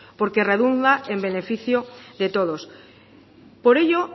porque redunda en beneficio de todos por ello